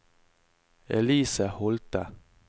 Elise Holthe